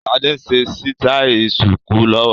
Sade ń ṣe sítai ṣùkú lọ́wọ́